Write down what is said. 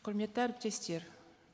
құрметті әріптестер